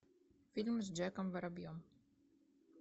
фильм с джеком воробьем